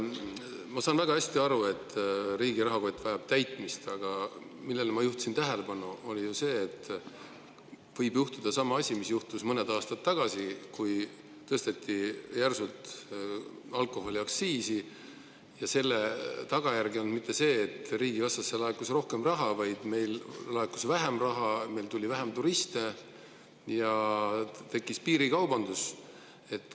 Ma saan väga hästi aru, et riigi rahakott vajab täitmist, aga millele ma juhtisin tähelepanu, oli ju see, et võib juhtuda sama asi, mis juhtus mõned aastad tagasi, kui tõsteti järsult alkoholiaktsiisi ja selle tagajärg ei olnud see, et riigikassasse laekus rohkem raha, vaid sinna laekus vähem raha, meile tuli vähem turiste ja tekkis piirikaubandus.